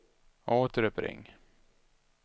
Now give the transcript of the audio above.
återuppring